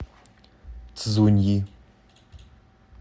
цзуньи